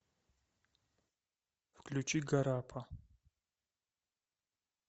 включи гарапа